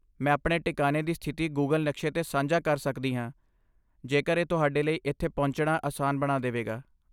ਮੈਂ ਆਪਣੇ ਟਿਕਾਨੇ ਦੀ ਸਥਿਤੀ ਗੂਗਲ ਨਕਸ਼ੇ ਤੇ ਸਾਂਝਾ ਕਰ ਸਕਦੀ ਹਾਂ ਜੇਕਰ ਇਹ ਤੁਹਾਡੇ ਲਈ ਇੱਥੇ ਪਹੁੰਚਣਾ ਆਸਾਨ ਬਣਾ ਦੇਵੇਗਾ।